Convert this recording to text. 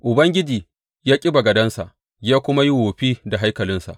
Ubangiji ya ƙi bagadensa ya kuma yi wofi da haikalinsa.